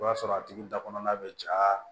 I b'a sɔrɔ a tigi da kɔnɔna bɛ ja